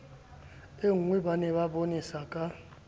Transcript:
e nngweba ne ba bonesaka